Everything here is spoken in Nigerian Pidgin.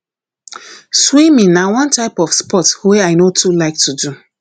swimming na one type of sport wey i no too like to do